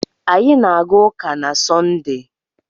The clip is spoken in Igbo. Anyị na-aga ụka na Sọnde.